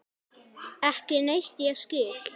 Ekki neitt ég skil.